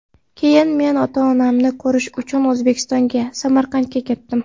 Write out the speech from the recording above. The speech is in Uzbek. Keyin men ota-onamni ko‘rish uchun O‘zbekistonga, Samarqandga ketdim.